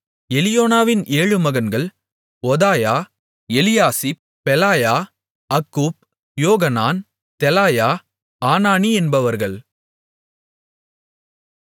எலியோனாவின் ஏழு மகன்கள் ஒதாயா எலியாசிப் பெலாயா அக்கூப் யோகனான் தெலாயா ஆனானி என்பவர்கள்